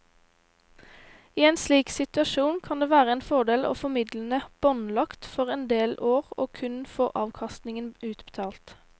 I en slik situasjon kan det være en fordel å få midlene båndlagt for en del år og kun få avkastningen utbetalt.